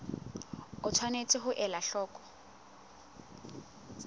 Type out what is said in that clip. o tshwanetse ho ela hloko